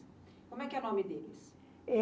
Como é que é o nome deles?